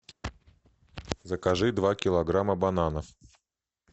закажи два килограмма бананов